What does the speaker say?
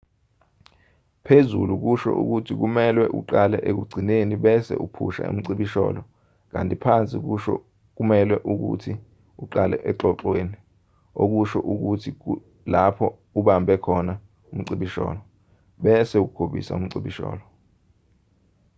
phezulu kusho ukuthi kumelwe uqale ekugcineni bese uphusha umcibisholo kanti phansi kusho ukuthi kumelwe uqale exoxweni okusho ukuthi lapho ubambe khona umcibisholo bese ugobisa umcibisholo